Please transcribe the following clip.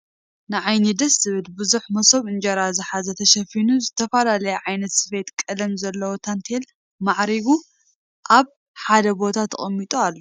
ንዓይኒ ደስ ዝብል ብዙሕ መሶብ እንጀራ ዝሓዘ ተሽፊኑ ዝተፈላለይ ዓይነት ስፊትን ቀልምን ዘልዎ ታንቴላት ማዕሪጉ ኣብ ሓደ ቦታ ተቅሚጡ ኣሎ ።